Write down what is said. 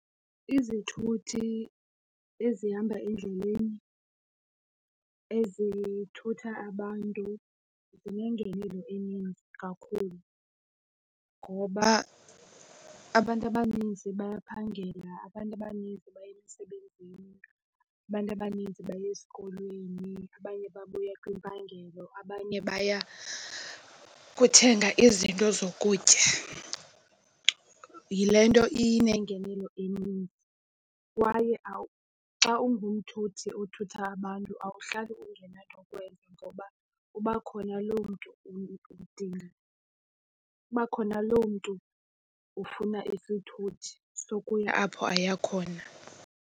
Izithuthi ezihamba endleleni ezithutha abantu zinengenelo eninzi kakhulu ngoba abantu abaninzi bayaphangela, abantu abaninzi baya emsebenzini, abantu abanintsi baya esikolweni, abanye babuya kwimpangelo abanye baya kuthenga izinto zokutya. Yile nto inengenelo eninzi kwaye xa ungumntu futhi othutha abantu awuhlali ungenanto yokwenza ngoba kuba khona lo mntu udinga isithuthi. Kuba khona lo mntu ufuna isithuthi sokuyila apho aya khona.